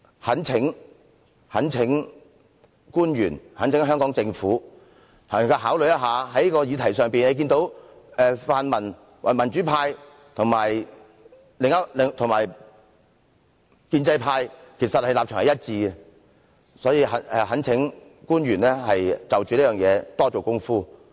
我懇請官員和香港政府作出考慮，在這個議題上，民主派和建制派的立場其實是一致的，所以我懇請官員就這問題多下工夫。